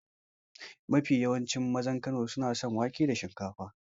Mafi yawancin mazan Kano suna son wake da shinkafa.